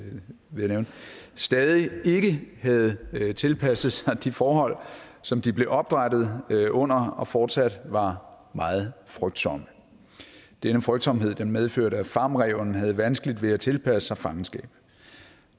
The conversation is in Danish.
jeg nævne stadig ikke havde tilpasset sig de forhold som de blev opdrættet under og fortsat var meget frygtsomme denne frygtsomhed medførte at farmræven havde vanskeligt ved at tilpasse sig fangenskab